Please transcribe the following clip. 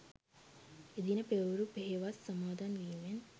එදින පෙරවරු පෙහෙවස් සමාදන් වීමෙන්